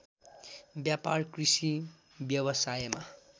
व्यापार कृषि व्यवसायमा